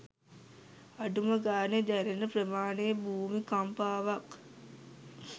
අඩුම ගානෙ දැනෙන ප්‍රමාණෙ භූමිකම්පාවක්